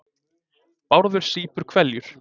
Bárður sýpur hveljur.